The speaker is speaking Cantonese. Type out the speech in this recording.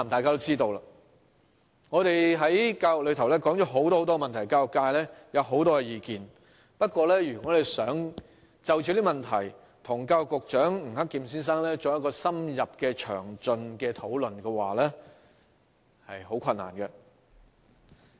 教育界對很多教育問題有很多意見，但要就這些問題與教育局局長吳克儉先生作深入詳盡的討論，卻很困難。